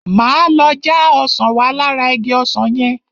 Máa lọ já ọsàn wá lára igi ọsàn yẹn.